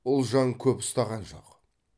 ұлжан көп ұстаған жоқ